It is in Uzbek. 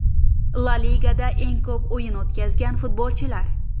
La Ligada eng ko‘p o‘yin o‘tkazgan futbolchilar.